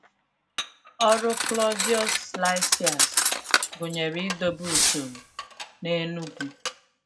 Ọrụ Claudius Lysias gụnyere idobe usoro n’Enugu.